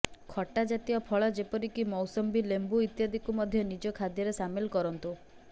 ଖଟା ଜାତୀୟ ଫଳ ଯେପରିକି ମୌସମ୍ବି ଲେମ୍ବୁ ଇତ୍ୟାଦିକୁ ମଧ୍ୟ ନିଜ ଖାଦ୍ୟରେ ସାମିଲ କରନ୍ତୁ